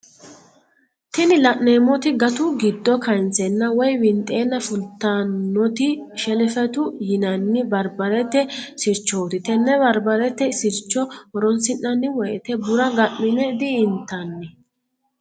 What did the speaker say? tini la'neemoti gatu giddo kaanseenna woyi windheenna fultannoti shelefetu yinanni barbarete sirchooti tenne barbarete sircho horonsi'nanni woyiite bura ga'mine di"intanni.